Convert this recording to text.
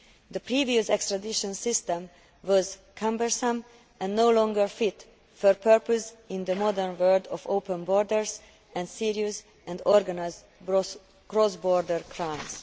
The previous extradition system was cumbersome and no longer fit for purpose in the modern world of open borders and serious and organised cross border crimes.